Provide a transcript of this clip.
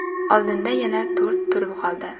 Oldinda yana to‘rt tur qoldi.